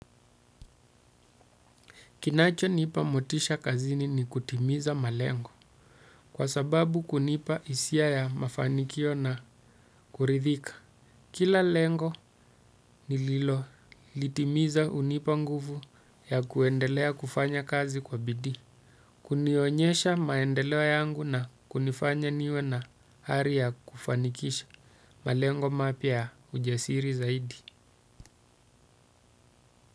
Kinachonipa motisha kazini ni kutimiza malengo. Kwa sababu kunipa hisia ya mafanikio na kuridhika. Kila lengo nililolitimiza unipa nguvu ya kuendelea kufanya kazi kwa bidii. Kunionyesha maendeleo yangu na kunifanya niwe na ari ya kufanikisha malengo mapya ya ujasiri zaidi.